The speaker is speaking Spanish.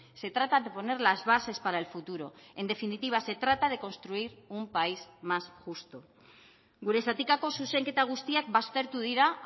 se trata de poner las bases para el futuro en definitiva se trata de construir un país más justo gure zatikako zuzenketa guztiak baztertu dira